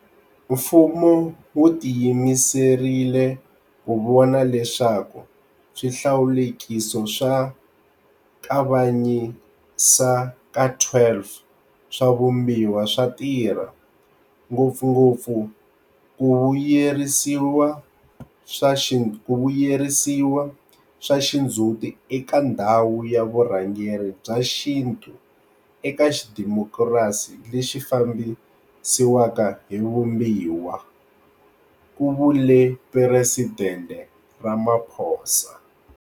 Mfumo wu ti yimiserile ku vona leswaku swi hlawulekiso swa Kavanyisa ka 12 swa Vumbiwa swa tirha, ngopfungopfu ku vu yiseriwa swa xindzhuti eka ndhawu ya vurhangeri bya xintu eka xidimokirasi lexi fambisiwaka hi Vumbiwa, ku vule Presidente Ramaphosa.